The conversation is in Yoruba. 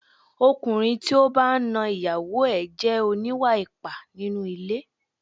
Ọkùnrin tí ó bá ń na ìyàwó ẹ jẹ́ oníwà ipá nínú ilé.